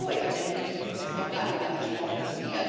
Blaue Energie ist noch gar nicht angesprochen worden.